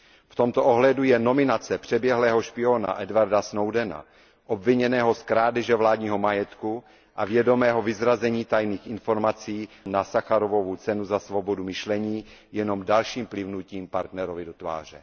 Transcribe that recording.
V tomto ohledu je nominace přeběhlého špióna Edwarda Snowdena, obviněného z krádeže vládního majetku a vědomého vyzrazení tajných informací, na Sacharovovu cenu za svobodu myšlení jenom dalším plivnutím partnerovi do tváře.